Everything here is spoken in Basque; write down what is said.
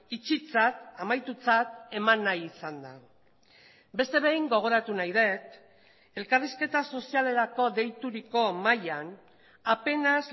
itxitzat amaitutzat eman nahi izan da beste behin gogoratu nahi dut elkarrizketa sozialerako deituriko mahaian apenas